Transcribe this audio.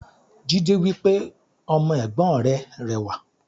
Jídé wípé "Ọmọ Ègbón rè rẹwà"